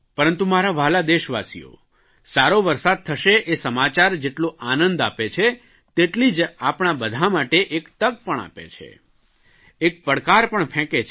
પરંતુ મારા વ્હાલા દેશવાસીઓ સારો વરસાદ થશે એ સમાચાર જેટલો આનંદ આપે છે તેટલી જ આપણા બધાં માટે એક તક પણ આપે છે એક પડકાર પણ ફેંકે છે